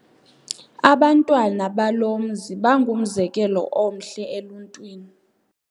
Abantwana balo mzi bangumzekelo omhle eluntwini.